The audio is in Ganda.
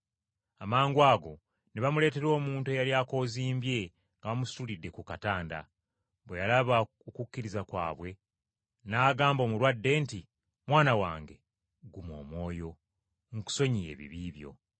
Amangwago ne bamuleetera omuntu eyali akoozimbye nga bamusitulidde ku katanda. Bwe yalaba okukkiriza kwabwe n’agamba omulwadde nti, “Mwana wange, guma omwoyo, nkusonyiye ebibi byo!”